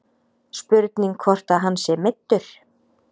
Spurning hvort að hann sé meiddur.